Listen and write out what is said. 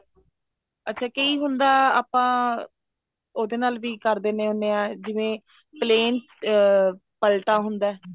ਅੱਛਾ ਕਈ ਹੁੰਦਾ ਆਪਾਂ ਉਹਦੇ ਨਾਲ ਵੀ ਕਰ ਦਿੰਦੇ ਹੁੰਦੇ ਆਂ ਜਿਵੇਂ plain ਅਮ ਪਲਟਾ ਹੁੰਦਾ